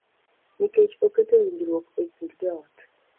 Nikech oketo winjruok e kind joot